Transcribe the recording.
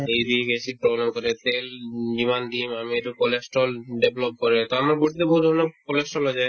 uric acid বৰ্ধন কৰে তেল যিমান দিম আমি এইটো cholesterol develop কৰে কাৰণ আমাৰ body য়ে বহুত ধৰণৰ cholesterol য়ে যে